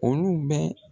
Olu bɛ